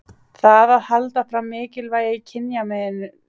Það að halda fram mikilvægi kynjamunar er því ákveðið valdatæki.